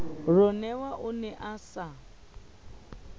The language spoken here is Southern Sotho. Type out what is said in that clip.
ronewa o ne a sa